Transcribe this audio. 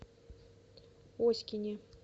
оськине